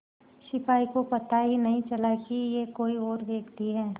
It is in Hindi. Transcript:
सिपाही को पता ही नहीं चला कि यह कोई और व्यक्ति है